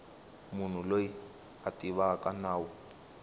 munhu loyi a tivaka nawu